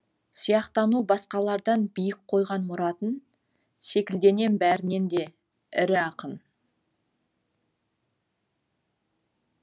сияқтану басқалардан биік қойған мұратын секілденем бәрінен де ірі ақын